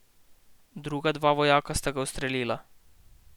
Druga dva vojaka sta ga ustrelila.